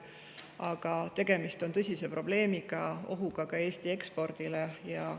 Aga tegemist on tõsise probleemiga ja ohuga Eesti ekspordile.